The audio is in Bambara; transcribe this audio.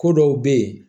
Ko dɔw bɛ yen